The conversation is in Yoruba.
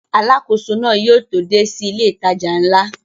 Alákóso náà yóò tó dé sí ilé ìtajà ńlá